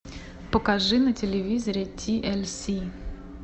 покажи на телевизоре ти эль си